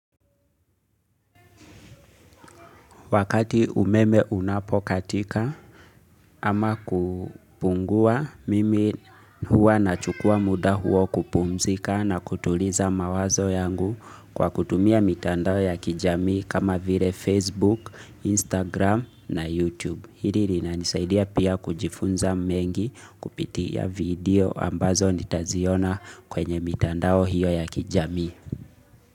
Wakati umeme unapokatika ama kupungua mimi huwa nachukua muda huo kupumzika na kutuliza mawazo yangu kwa kutumia mitandao ya kijamii kama vile Facebook, Instagram na Youtube. Hili linanisaidia pia kujifunza mengi kupitia video ambazo nitaziona kwenye mitandao hiyo ya kijamii.